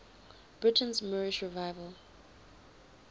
britain's moorish revival